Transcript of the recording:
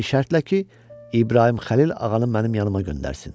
Bir şərtlə ki, İbrahim Xəlil ağanı mənim yanıma göndərsin.